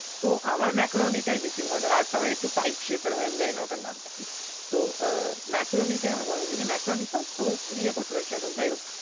আমার macaroni টায় বেশি ভালো লাগে। আরটা হয় একটু pipe shape এর হয় আমি জানিনা ওটার নামে টা কি। তো আহ macaroni টায় আমার ভালো লাগে, যদি macaroni খাস তো ইয়ে করতে পারিস try করতে, যাইহোক।